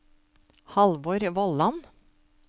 Halvor Vollan